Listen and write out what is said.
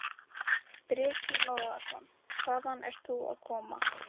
Breki Logason: Hvaðan ert þú að koma?